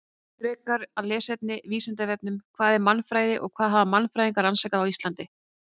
Frekara lesefni á Vísindavefnum: Hvað er mannfræði og hvað hafa mannfræðingar rannsakað á Íslandi?